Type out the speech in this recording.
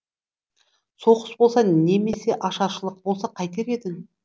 соғыс болса немесе ашаршылық болса қайтер едің